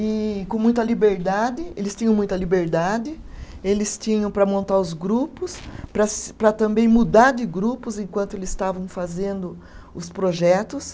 E com muita liberdade, eles tinham muita liberdade, eles tinham para montar os grupos, para se, para também mudar de grupos enquanto eles estavam fazendo os projetos.